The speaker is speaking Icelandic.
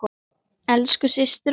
Elsku systir okkar.